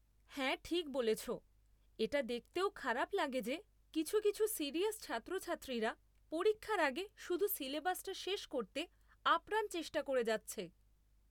হ্যাঁ ঠিক বলেছ। এটা দেখতেও খারাপ লাগে যে কিছু কিছু সিরিয়াস ছাত্রছাত্রীরা পরীক্ষার আগে শুধু সিলেবাসটা শেষ করতে আপ্রাণ চেষ্টা করে যাচ্ছে।